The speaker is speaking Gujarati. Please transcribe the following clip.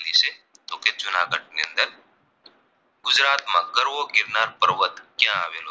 માં ગરવો ગિરનાર પર્વત ક્યાં આવેલો છે